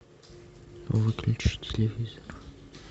выключи телевизор